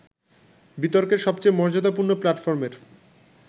বিতর্কের সবচেয়ে মর্যাদাপূর্ণ প্ল্যাটফর্মের